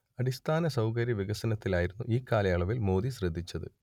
അടിസ്ഥാന സൗകര്യ വികസനത്തിലായിരുന്നു ഇക്കാലയളവിൽ മോദി ശ്രദ്ധിച്ചത്